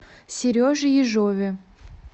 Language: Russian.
сереже ежове